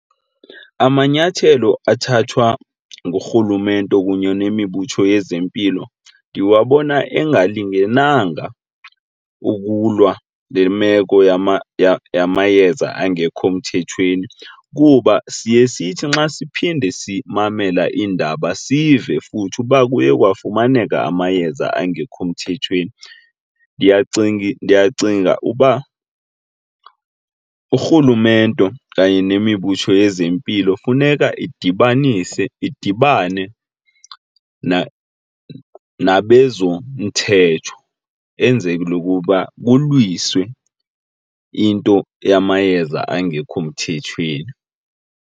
Amanyathelo athathwa ngurhulumente kunye nemibutho yezempilo ndiwabona engalingenanga ukulwa le meko yamayeza angekho mthethweni kuba siye sithi nxa siphinde simamele iindaba sive futhi uba kuye kwafumaneka amayeza angekho mthethweni. Ndiyacinga uba urhulumente okanye nemibutho yezempilo funeka idibanise, idibane nabezomthetho enzele ukuba kulungiswe into yamayeza angekho mthethweni.